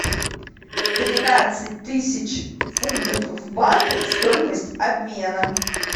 тринадцать тысяч фунтов в баты стоимость обмена